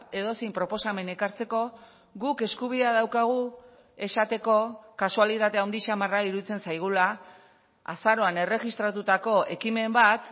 edozein proposamen ekartzeko guk eskubidea daukagu esateko kasualitate handi xamarra iruditzen zaigula azaroan erregistratutako ekimen bat